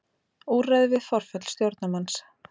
Úrræði við forföll stjórnarmanns.